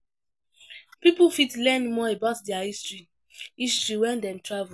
Pipo fit learn more about their history history when dem travel